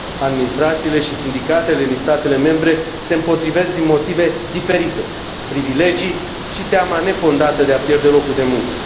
Administrațiile și sindicatele din statele membre se împotrivesc din motive diferite privilegii și teama nefondată de a pierde locul de muncă.